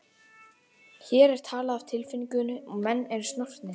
Hér er talað af tilfinningu og menn eru snortnir.